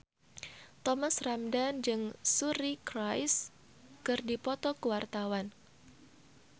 Thomas Ramdhan jeung Suri Cruise keur dipoto ku wartawan